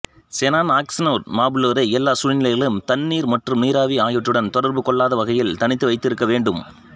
xenon oxy நான்மபுளோரை எல்லா சூழ்நிலைகளிலும் தண்ணீர் மற்றும் நீராவி ஆகியவற்றுடன் தொடர்பு கொள்ளாத வகையில் தனித்து வைத்திருக்க வேண்டும்